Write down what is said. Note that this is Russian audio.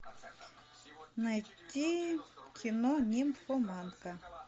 найти кино нимфоманка